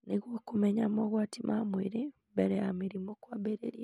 Nĩguo kũmenya mogwati ma mwĩrĩ mbere ya mĩrimũ kwambĩrĩria.